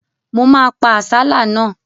Mo ma pa àsálà náà.